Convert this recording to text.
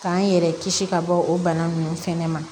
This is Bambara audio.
K'an yɛrɛ kisi ka bɔ o bana nunnu fɛnɛ ma